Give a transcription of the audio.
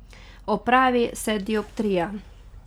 Odpravi se dioptrija.